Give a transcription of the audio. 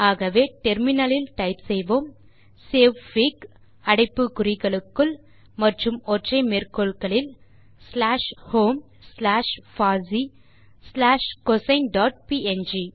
ஆகவே நாம் முனையத்தில் டைப் செய்வோம் சேவ்ஃபிக் அடைப்பு குறிகளுக்குள் மற்றும் ஒற்றை மேற்கோள்களில் ஸ்லாஷ் ஹோம் ஸ்லாஷ் பாசி ஸ்லாஷ் கோசின் டாட் ப்ங்